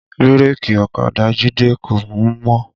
Bírèkì ọ̀kadà Jide kò mú mọ́